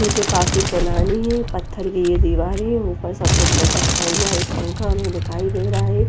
उनके काफी पुनाने है पथर की एक दीवार है उपर सफेद लटकता हुआ पंखा हमे दिखाई दे रहा है।